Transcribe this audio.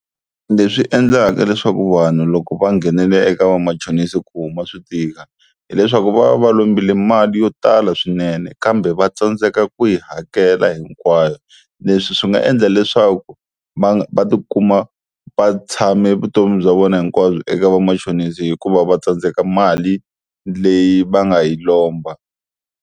Leswi endlaka leswaku vanhu loko va nghenela eka vamachonisi ku huma swi tika, hileswaku va va va lombile mali yo tala swinene kambe va tsandzeka ku yi hakela hinkwayo, leswi swi nga endla leswaku va va tikuma va tshame vutomi bya vona hinkwabyo eka vamachonisi hikuva va tsandzeka mali leyi va nga yi lomba.